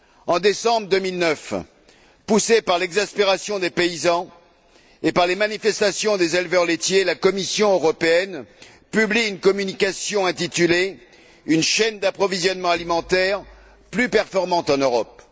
En décembre 2009, poussée par l'exaspération des paysans et par les manifestations des éleveurs laitiers, la Commission européenne publie une communication intitulée Une chaîne d'approvisionnement alimentaire plus performante en Europe.